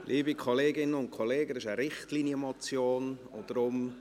Liebe Kolleginnen und Kollegen, es handelt sich um eine Richtlinienmotion und deshalb: